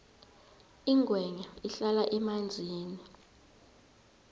ingwenya ihlala emanzini